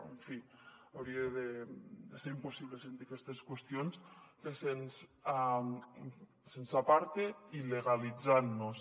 en fi hauria de ser impossible sentir aquestes qüestions que se’ns aparti il·legalitzant nos